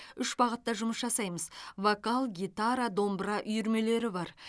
үш бағытта жұмыс жасаймыз вокал гитара домбыра үйірмелері бар